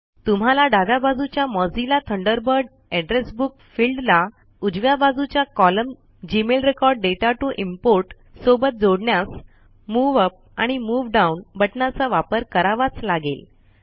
तुम्हाला डाव्या बाजूच्या Mozilla Thunderbird address book field ला उजव्या बाजूच्या column Gmail record data to import सोबत जोडण्यास मूव अप आणि मूव डाउन बटणाचा वापर करावाच लागेल